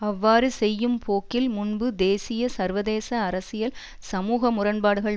அவ்வாறு செய்யும் போக்கில் முன்பு தேசிய சர்வதேச அரசியல் சமூக முரண்பாடுகள்